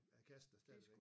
Er kassen der stadigvæk